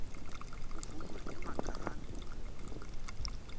kuvunwa emaganu